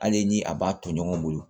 Hali ni a b'a to ɲɔgɔn bolo